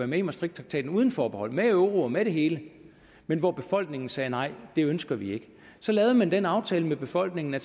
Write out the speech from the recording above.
med i maastrichttraktaten uden forbehold med euro og med det hele men hvor befolkningen sagde nej det ønsker vi ikke så lavede man den aftale med befolkningen at